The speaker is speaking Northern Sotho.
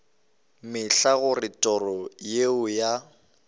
mehla gore toro yeo ya